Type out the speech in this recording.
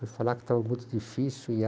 Foi falar que estava muito difícil e